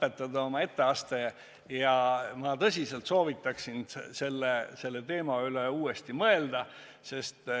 Et oma etteaste viisakalt lõpetada, ma tõsiselt soovitan selle teema üle uuesti mõelda.